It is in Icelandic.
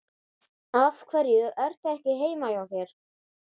Af hverju ertu ekki heima hjá þér?